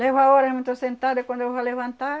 Levo a hora, eu não estou sentada, e quando eu vou levantar,